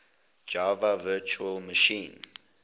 java virtual machine